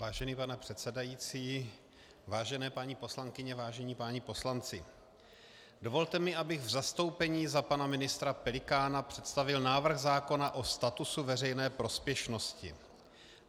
Vážený pane předsedající, vážené paní poslankyně, vážení páni poslanci, dovolte mi, abych v zastoupení za pana ministra Pelikána představil návrh zákona o statusu veřejné prospěšnosti.